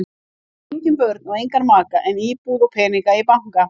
Hann á engin börn og engan maka en íbúð og peninga í banka.